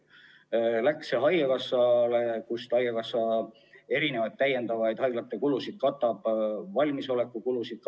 See läks haigekassale ja haigekassa kattis selle abil mitmesuguseid haiglate lisakulusid, valmisolekukulusid.